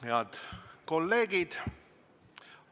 Head kolleegid!